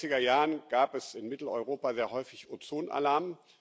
In den 90er Jahren gab es in Mitteleuropa sehr häufig Ozonalarm.